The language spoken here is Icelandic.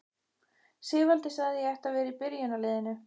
Sigvaldi sagði að ég ætti að vera í byrjunarliðinu!